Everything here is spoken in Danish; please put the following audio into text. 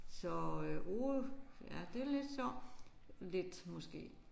Så øh uh ja det er lidt sjovt. Lidt måske